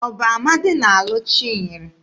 Ọ bụ Amadị na-alụ Chinyere?